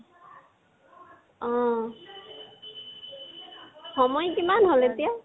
অহ। সময় কিমান হল এতিয়া?